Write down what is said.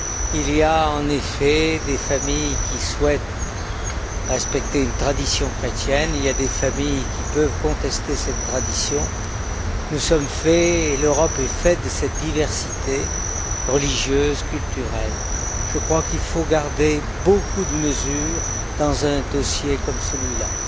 Il y a, en effet, des familles qui souhaitent respecter une tradition chrétienne. Il y a des familles qui peuvent contester cette tradition. Nous sommes faits, l'Europe est faite, de cette diversité religieuse, culturelle. Je crois qu'il faut garder beaucoup de mesure dans un dossier comme celui là.